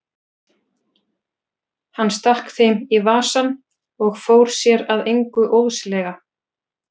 Hann stakk þeim í vasann og fór sér að engu óðslega.